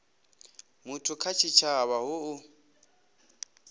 muthu kha tshitshavha hu u